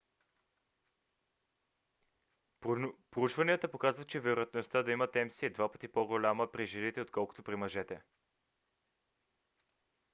проучванията показват че вероятността да имат мс е два пъти по-голяма при жените отколкото при мъжете